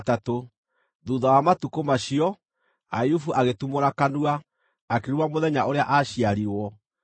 Thuutha wa matukũ macio, Ayubu agĩtumũra kanua, akĩruma mũthenya ũrĩa aaciarirwo.